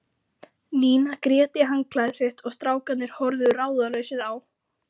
Nína grét í handklæðið sitt og strákarnir horfðu ráðalausir á.